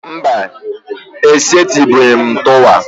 Mba, e setubeghi m tuwo